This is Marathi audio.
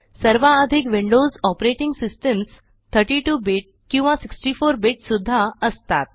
सर्वाधिक विंडोज ऑपरेटिंग सिस्टम्स 32 बिट किंवा 64 बिट सुद्धा असतात